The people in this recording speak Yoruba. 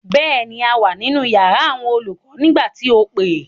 Bẹ́ẹ̀ ni, a wà nínú yàrá àwọn olùkọ nígbà tí o pè.